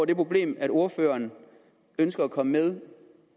det problem at ordføreren ønsker at komme med